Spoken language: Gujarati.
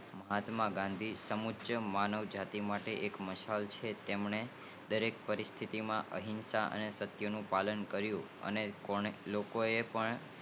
મહાત્મા ગાંધી સમુક્યં માનવ જતી માટે એક મશાલ છે તેમને દરેક પરિસ્તિતિ માં અહિંસા અને સત્ય ના પાલન કરીયુ છે અને લોકો ને પણ